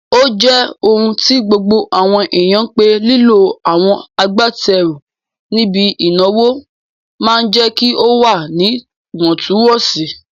Ó jẹ́ ohun tí gbogbo àwọn èèyàn pé lílo àwọn agbátẹrù níbi ìnáwó máa jẹ́ kí ó wà níwọ̀ntún-wọ̀nsì